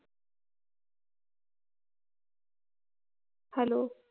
hello